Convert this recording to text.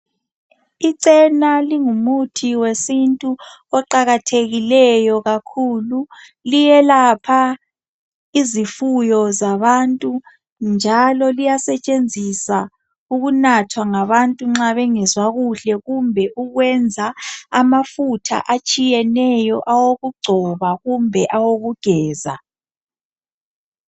Ichena lingumuthi wesintu oqakathekileyo kakhulu liyelapha izifuyo zabantu njalo liyasetshenziswa ukunathwa ngabantu nxa bengezwa kuhle kumbe ukwenza amafutha atshiyeneyo awokugcoba kumbe awokugeza.